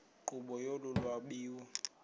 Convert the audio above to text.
nkqubo yolu lwabiwo